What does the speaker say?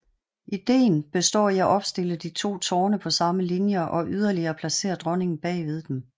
Ideen består i at opstille de to tårne på samme linje og yderligere placere dronningen bag ved dem